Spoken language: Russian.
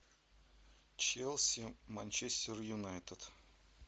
челси манчестер юнайтед